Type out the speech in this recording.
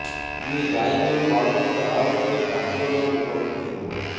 କିଏ ଗାଇ ଗୋରୁ ପାଳୁଛି ତ ଆଉ କିଏ ଠାକୁର ଦଉଡି ପ୍ରସ୍ତୁତି କରୁଛି